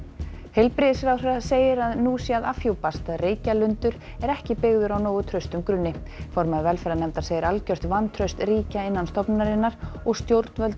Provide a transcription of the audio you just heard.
heilbrigðisráðherra segir að nú sé að afhjúpast að Reykjalundur er ekki byggður á nógu traustum grunni formaður velferðarnefndar segir algjört vantraust ríkja innan stofnunarinnar og stjórnvöld